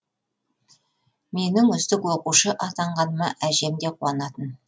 менің үздік оқушы атанғаныма әжем де қуанатын